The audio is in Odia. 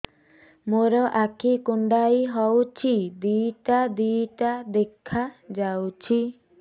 ମୋର ଆଖି କୁଣ୍ଡାଇ ହଉଛି ଦିଇଟା ଦିଇଟା ଦେଖା ଯାଉଛି